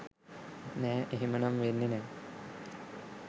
නෑ එහෙමනම් වෙන්නේ නෑ.